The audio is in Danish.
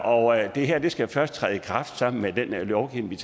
og det her skal først træde i kraft sammen med den lovgivning